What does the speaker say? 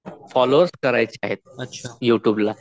हजार फोल्लोवर्स करायचे आहेत यु ट्यूबला